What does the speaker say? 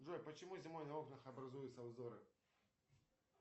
джой почему зимой на окнах образуются узоры